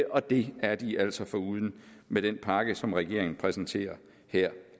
og det er de altså foruden med den pakke som regeringen præsenterer her